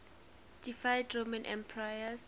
deified roman emperors